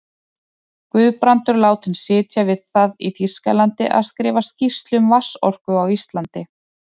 Guðbrandur látinn sitja við það í Þýskalandi að skrifa skýrslu um vatnsorku á Íslandi.